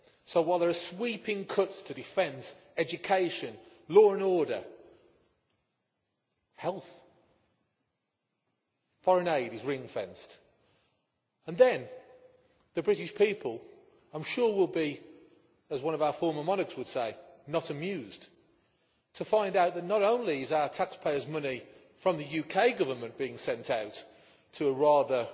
So while there are sweeping cuts to defence, education, law and order, and health, foreign aid is ring fenced. And then the British people, I am sure, will be, as one of our former monarchs would say, not amused' to find out that not only is our taxpayers' money from the UK Government being sent out to a rather